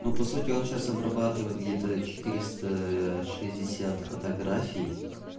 ну по сути он сейчас обрабатывает где-то четыреста шестьдесят фотографий